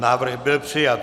Návrh byl přijat.